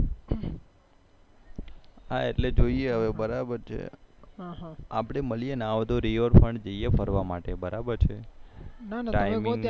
હા એટલે જોઈએ હવે બરાબર છે આપડે મળી ના હોય તો